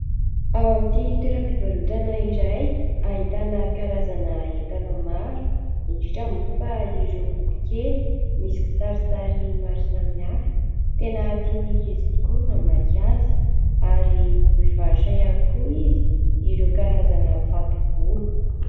Ao amin'ity toeram-pivarotana iray, ahitana karazana entana maro indrindra moa fa ireo boky kely misy kisarisary maro samy hafa. Tena tian'ny ankizy tokoa ny mamaky azy ary mivarotra ihany koa izy ireo karazana fato-bolo.